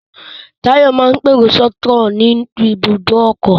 Táyọ̀ máa ń pèrò sọ́kọ̀ ní ibùdó ọkọ̀